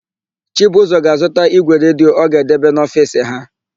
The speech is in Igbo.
Chibụzọ ga-azụta ígwè redio ọ ga-edebe n'ofiisi ha.